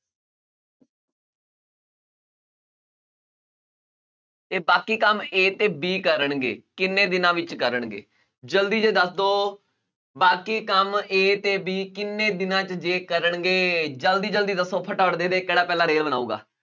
ਤੇ ਬਾਕੀ ਕੰਮ a ਤੇ b ਕਰਨਗੇ, ਕਿੰਨੇ ਦਿਨਾਂ ਵਿੱਚ ਕਰਨਗੇ ਜ਼ਲਦੀ ਦੱਸ ਦਓ, ਬਾਕੀ ਕੰਮ a ਤੇ b ਕਿੰਨੇ ਦਿਨਾਂ 'ਚ ਜੇ ਕਰਨਗੇ ਜ਼ਲਦੀ ਜ਼ਲਦੀ ਦੱਸੋ ਫਟਾਫਟ ਦੇਖਦੇ ਹਾਂ ਕਿਹੜਾ ਪਹਿਲਾਂ ਰੇਲ ਬਣਾਊਗਾ